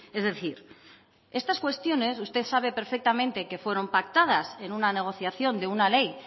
es decir estas cuestiones usted sabe perfectamente que fueron pactadas en una negociación de una ley